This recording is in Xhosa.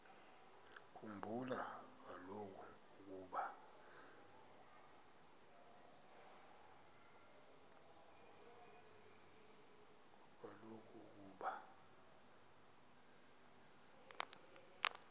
khumbula kaloku ukuba